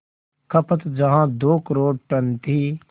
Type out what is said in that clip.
खपत जहां दो करोड़ टन थी